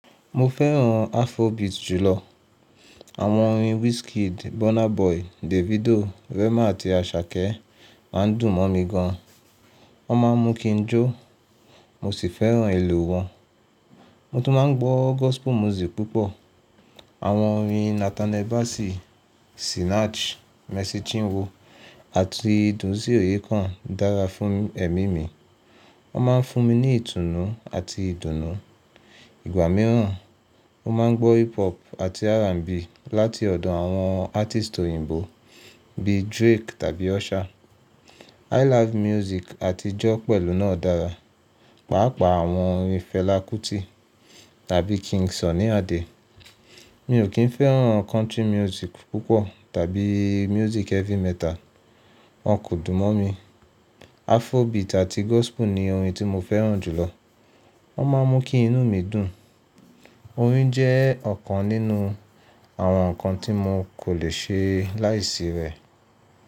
Mo fẹ́ràn Afrobeat jùlọ. Àwọn orin Wizkid, Burna Boy, Davido, Rema àti Asake máa ń dùn mọ́ mi gan an. Wọ́n máa ń mú kí n jó, mo sì fẹ́ràn ìlù wọn. Mo tún máa ń gbọ́ gospel music púpọ̀. Àwọn orin Nathaniel Bassey, Sinach, Mercy Chinwo àti Dunsin Oyekan dára fún ẹ̀mí mi. Wọ́n máa ń fún mi ní ìtùnú àti ìdùnnú. Ìgbà mìíràn, mo máa ń gbọ́ hip hop àti R&B láti ọ̀dọ̀ àwọn artist òyìnbó bíi Drake tàbí Usher. I live music àti jó pẹ̀lú náà dára, pàápàá àwọn orin Fela Kuti tàbí King Sunny Adé. Mi ò kín fẹ́ràn country music púpọ̀ tàbí music heavy metal. Wọ́n kò dùn mọ́ mi. Afrobeat àti gospel ni orin tí mo fẹ́ràn jùlọ. Wọ́n máa ń mú kí inú mi dùn. Orin jẹ́ ọ̀kan nínú àwọn nǹkan tí mo kò lè ṣe láìsí rẹ̀.